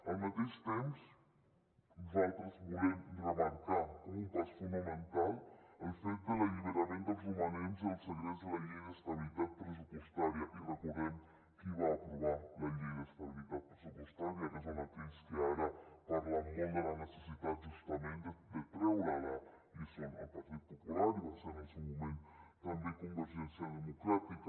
al mateix temps nosaltres volem remarcar com un pas fonamental el fet de l’alliberament dels romanents del segrest de la llei d’estabilitat pressupostària i recordem qui va aprovar la llei d’estabilitat pressupostària que són aquells que ara parlen molt de la necessitat justament de treure la i són el partit popular i va ser en el seu moment també convergència democràtica